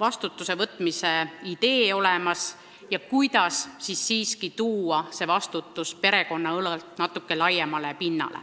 vastutuse võtmise idee olemas ja kuidas siiski viia see vastutus perekonna õlult natukene laiemale pinnale.